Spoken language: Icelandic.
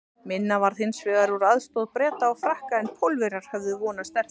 Minna varð hins vegar úr aðstoð Breta og Frakka en Pólverjar höfðu vonast eftir.